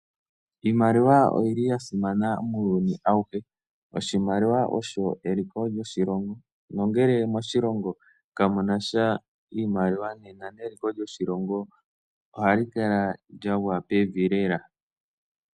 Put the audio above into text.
Iimaliwa oyili yasimana muuyuni awuhe. Oshimaliwa osho eliko lyoshilongo nongele moshilongo kamunasha iimaliwa nena neliko lyoshilongo alikala lyagwa pevi lela.